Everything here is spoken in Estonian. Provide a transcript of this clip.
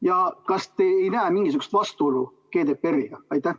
Ja kas te ei näe mingisugust vastuolu GDPR-iga?